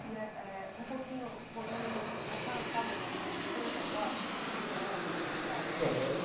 E é é. Um pouquinho, voltando um pouquinho, a senhora sabe alguma coisa dos seus avós maternos e paternos? Sei